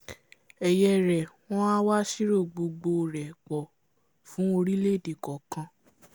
ẹ̀yẹ rẹ̀ wọ́n a wá sírò gbogbo rẹ̀ pọ̀ fún orílẹ̀èdè kọ̀ọ̀kan